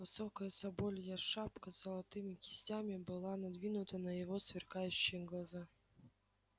высокая соболья шапка с золотыми кистями была надвинута на его сверкающие глаза